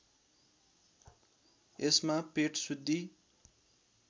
यसमा पेट शुद्धि